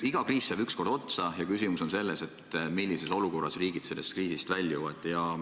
Iga kriis saab ükskord otsa ja küsimus on selles, millises olukorras riigid sellest kriisist väljuvad.